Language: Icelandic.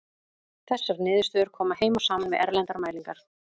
Þessar niðurstöður koma heim og saman við erlendar mælingar.